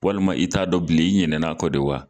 Walima i t'a dɔn bilen i ɲinɛn'a kɔ de wa